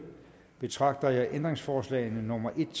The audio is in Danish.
betragter jeg ændringsforslagene nummer en